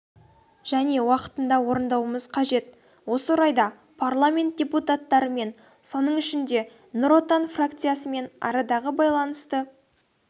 және уақытында орындауымыз қажет осы орайда парламент депутаттарымен соның ішінде нұр отан фракциясымен арадағы байланысты